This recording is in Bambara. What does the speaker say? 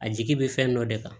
A jigi bɛ fɛn dɔ de kan